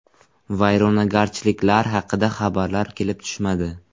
Vayronagarchiliklar haqida xabarlar kelib tushmadi.